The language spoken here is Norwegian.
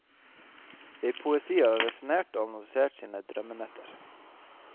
I poesi har han resonnert og analysert sine drømmenetter.